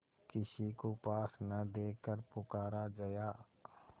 किसी को पास न देखकर पुकारा जया